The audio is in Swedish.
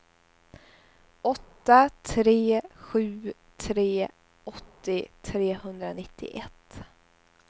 åtta tre sju tre åttio trehundranittioett